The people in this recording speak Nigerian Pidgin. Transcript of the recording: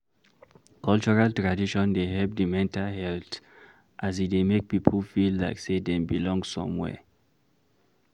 cultural tradition de help di mental health as e dey make pipo feel like sey dem belong somewhere